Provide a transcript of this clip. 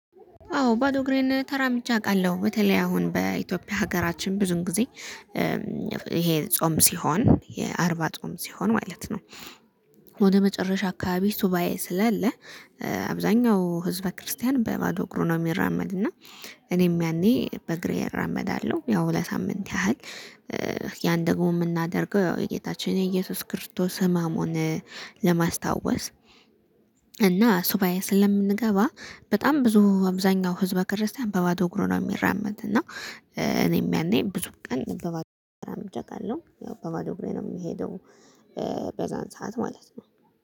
አዎ ባዶ እግሬን ተራምጄ አውቃለሁ በተለይ አሁን በኢትዮጵያ ሀገራችን ብዙን ጊዜ ይሄ ጾም ሲሆን የአርባ ጾም ሲሆን ማለት ነው። ወደ መጨረሻ አካባቢ ሱባኤ ስላለ። አብዛኛው ህዝበ ክርስቲያን በባዶ እግሩ ነው የሚራመድ እና። እኔም ያኔ በእግሬ እራመዳለሁ ያው ለሳምንት ያህል። ያን ደግሞ የምናደርገው ያው የጌታችን የኢየሱስ ክርስቶስ ህመሙን ለማስታወስ። እና ሱባኤ ስለምንገባ በጣም ብዙ አብዛኛው ህዝበ ክርስቲያን በባዶ እግሩ ነው የሚራመድ እና። እኔም ያኔ ብዙ ቀን በባዶ እግሩ ነው ብሬን ነው የምሄደው። በዛን ሰዓት ማለት ነው